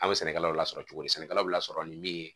An bɛ sɛnɛkɛlaw lasɔrɔ cogo di sɛnɛkɛlaw bɛ lasɔrɔ ni min ye